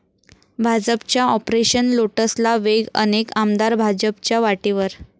भाजपच्या 'ऑपरेशन लोटस'ला वेग, अनेक आमदार भाजपच्या वाटेवर